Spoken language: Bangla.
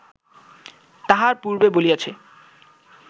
তাহা পূর্বে বলিয়াছি